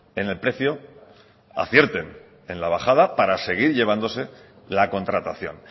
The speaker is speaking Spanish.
en el precio acierten en la bajada para seguir llevándose la contratación